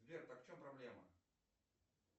сбер так в чем проблема